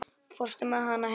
Fórstu með hana heim?